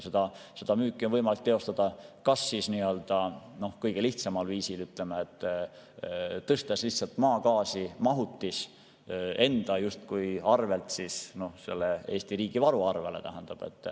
Seda müüki on võimalik teostada kas nii‑öelda kõige lihtsamal viisil, tõstes lihtsalt maagaasi mahutis justkui enda arvelt Eesti riigi varu arvele.